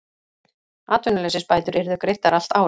Atvinnuleysisbætur yrðu greiddar allt árið